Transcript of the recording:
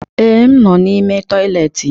Ee, m nọ n'ime toịletị.